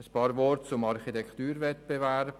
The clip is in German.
Ein paar Worte zum Architekturwettbewerb: